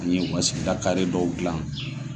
An ye u ka sigida kare dɔw dilan.